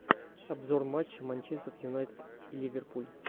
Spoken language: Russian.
обзор матча манчестер юнайтед и ливерпуль